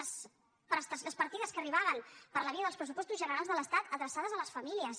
les partides que arribaven per la via dels pressupostos generals de l’estat adreçades a les famí·lies